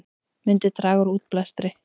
Myndi draga úr útblæstri